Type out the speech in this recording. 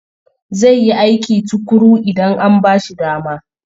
Zai yi aiki tuƙuru idan an ba shi dama.